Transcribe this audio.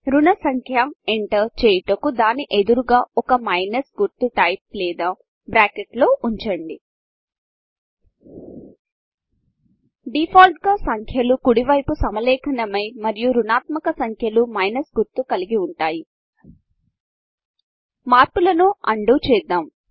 రుణ సంఖ్య ఎంటర్ చేయుటకు దాని ఎదురుగా ఒక మైనస్ గుర్తు టైప్ లేదా బ్రాకెట్ల లో ఉంచండి డిఫాల్ట్ గా సంఖ్యలు కుడివైపు సమలేఖనమై మరియు రుణాత్మక సంఖ్యలు మైనస్ గుర్తు కలిగి ఉంటాయి మార్పులను అన్డూ చేద్దాము